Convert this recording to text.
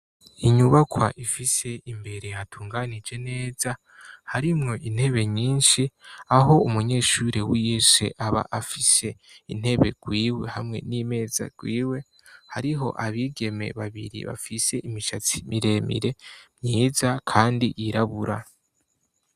Inyubakwa ifise imbere hatunganije neza, harimwo intebe nyinshi aho umunyeshuri wese aba afise intebe rwiwe hamwe n'imeza rwiwe; hariho abigeme babiri bafise imishatsi miremire myiza kandi yirabura.